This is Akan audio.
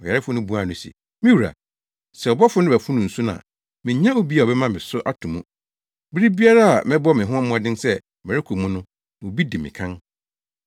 Ɔyarefo no buaa no se, “Me wura, sɛ ɔbɔfo no bɛfono nsu no a, minnya obi a ɔbɛma me so ato mu. Bere biara a mɛbɔ me ho mmɔden sɛ merekɔ mu no, obi di me kan.”